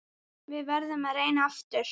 Við verðum að reyna aftur.